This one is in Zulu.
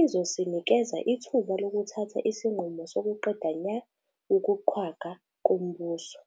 Izosinikeza ithuba lokuthatha isinqumo sokuqeda nya ukuqhwagwa kombuso.